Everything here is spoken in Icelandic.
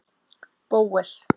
Bóel